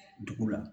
Dugu la